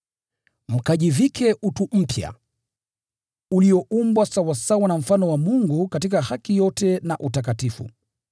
mkajivike utu mpya, ulioumbwa sawasawa na mfano wa Mungu katika haki yote na utakatifu.